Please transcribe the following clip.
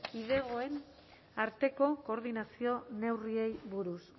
kidegoen arteko koordinazio neurriei buruz